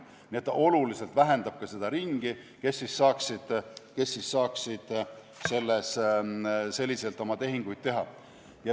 Nii et see oluliselt vähendab seda ringi, kes saaksid selliselt oma tehinguid teha.